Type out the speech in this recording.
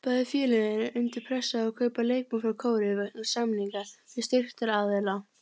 Bæði félög eru undir pressu á að kaupa leikmann frá Kóreu vegna samninga við styrktaraðila.